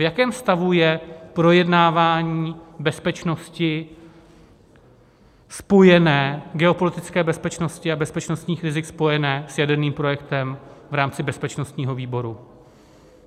V jakém stavu je projednávání bezpečnosti, spojené geopolitické bezpečnosti a bezpečnostních rizik, spojené s jaderným projektem v rámci bezpečnostního výboru?